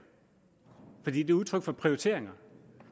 for det er et udtryk for prioriteringer